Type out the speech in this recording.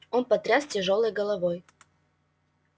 он потряс тяжёлой головой